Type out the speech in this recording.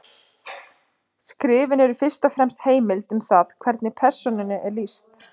Skrifin eru fyrst og fremst heimild um það hvernig persónunni er lýst.